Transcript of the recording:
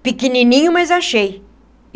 pequenininho, mas achei.